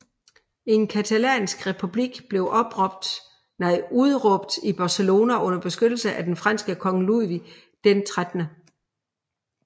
En catalansk republik blev udråbt i Barcelona under beskyttelse af den franske konge Ludvig XIII